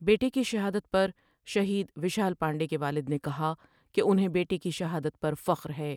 بیٹے کی شہادت پر شہید ویشال پانڈے کے والد نے کہا کہ انھیں بیٹے کی شہادت پر فخر ہے ۔